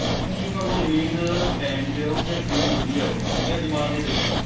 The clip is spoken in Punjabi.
ਉਹ ਫੇਰ ਤੁਹਾਨੂੰ ਨੀਂਦ time ਤੇ ਆਉਗੀ ਅਰ ਕਿੰਨੀ ਵਧੀਆਂ ਆਉਂਗੀ ਇਹ ਅਜਮਾ ਕੇ ਦੇਖ ਲਿਓ